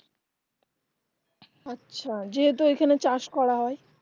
আচ্ছা যেহেতু ওখানে চাষ করা হয়